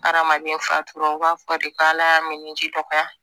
Adamaden fatura de k'ala y'a mɛn ni ji dɔgɔya